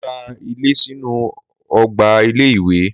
Mo gba ilé sínú ọgbà ilé-ìwé.